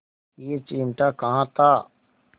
यह चिमटा कहाँ था